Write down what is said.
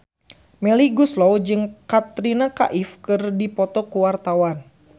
Melly Goeslaw jeung Katrina Kaif keur dipoto ku wartawan